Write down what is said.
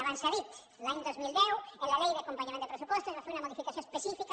abans s’ha dit l’any dos mil deu en la llei d’acompanyament de pressupostos es va fer una modificació específica